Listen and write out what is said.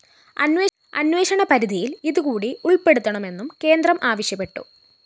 അന്വേഷണപരിധിയില്‍ ഇതുകൂടി ഉള്‍പ്പെടുത്തണമെന്നും കേന്ദ്രം ആവശ്യപ്പെട്ടു